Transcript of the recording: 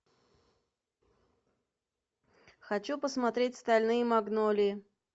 хочу посмотреть стальные магнолии